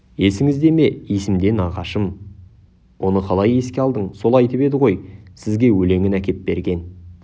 есіңізде ме есімде мағашым оны қалай еске алдың сол айтып еді ғой сізге өлеңін әкеп берген